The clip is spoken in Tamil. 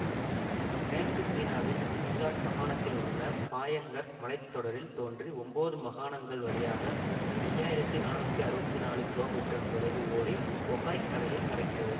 மேற்கு சீனாவின் சிங்ஹாக் மகாணத்திலுள்ள பாயன் ஹர் மலை தொடரில் தோன்றி ஒன்பது மகாணங்கள் வழியாக ஐந்து ஆயிரத்தி நானூற்றி அறுபத்தி நாளு கிமீ தொலைவு ஓடி பொகாய் கடலில் கலக்கிறது